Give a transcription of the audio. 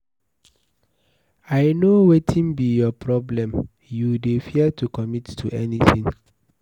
I no wetin be your problem. You dey fear to commit to anything.